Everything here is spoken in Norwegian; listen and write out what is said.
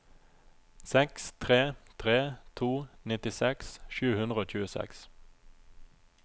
seks tre tre to nittiseks sju hundre og tjueseks